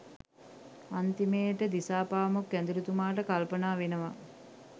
අන්තිමේට දිසාපාමොක් ඇදුරුතුමාට කල්පනා වෙනවා